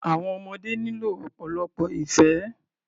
Àwọn ọmọdé nílò ọ̀pọ̀lọpọ̀ ìfẹ́.